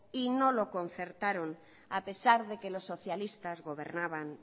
y no lo concertaron a pesar de que los socialistas gobernaban